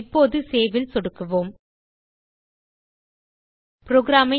இப்போது Saveல் சொடுக்குக